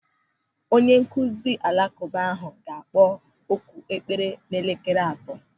Onyenkụzi alakụba ahụ ga-akpọ oku ekpere n'elekere atọ.